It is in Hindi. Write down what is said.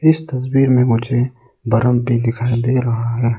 इस तस्वीर में मुझे बर्फ भी दिखाई दे रहा है।